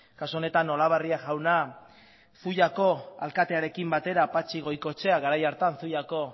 kasu honetan olabarria jauna zuiako alkatearekin batera patxi goikoetxea garai hartan zuiako